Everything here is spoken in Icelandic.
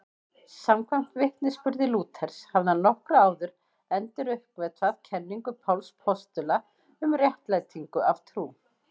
Samkvæmt vitnisburði Lúthers hafði hann nokkru áður enduruppgötvað kenningu Páls postula um réttlætingu af trú.